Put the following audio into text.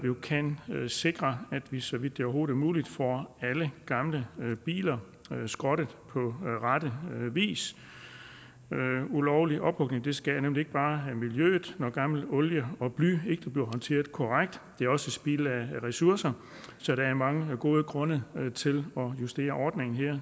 kan sikre at vi så vidt det overhovedet er muligt får alle gamle biler skrottet på rette vis ulovlig ophugning skader nemlig ikke bare miljøet når gammel olie og bly ikke bliver håndteret korrekt det er også spild af ressourcer så der er mange gode grunde til at justere ordningen her